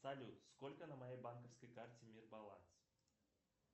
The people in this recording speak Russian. салют сколько на моей банковской карте мир баланс